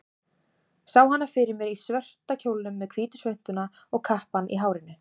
Sá hana fyrir mér í svarta kjólnum, með hvítu svuntuna og kappann í hárinu.